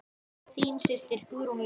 Þín systir Hugrún Lind.